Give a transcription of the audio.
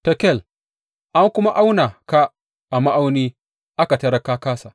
Tekel, An kuma auna ka a ma’auni aka tarar ka kāsa.